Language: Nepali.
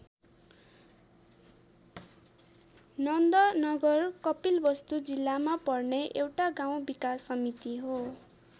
नन्द नगर कपिलवस्तु जिल्लामा पर्ने एउटा गाउँ विकास समिति हो।